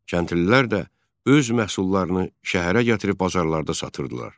Kəndlilər də öz məhsullarını şəhərə gətirib bazarlarda satırdılar.